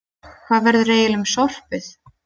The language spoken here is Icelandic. Hvað verður eiginlega um sorpið?